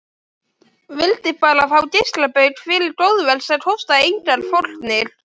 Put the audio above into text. Vildi bara fá geislabaug fyrir góðverk sem kostaði engar fórnir.